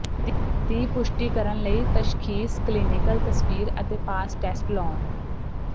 ਦੀ ਪੁਸ਼ਟੀ ਕਰਨ ਲਈ ਤਸ਼ਖੀਸ ਕਲੀਨਿਕਲ ਤਸਵੀਰ ਅਤੇ ਪਾਸ ਟੈਸਟ ਲਾਉਣ